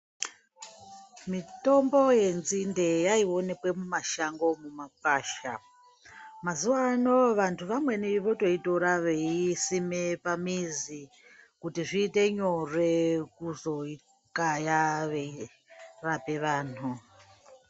Mitombo yenzinde yaionekwe mumashango, mumagwasha. Mazuvano vantu vamweni wotoitora weiisime pamizi kuti zviite nyore kuzoikaya, weirape vanhu.